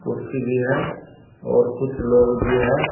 कुर्सी भी है और कुछ लोग भी हैं।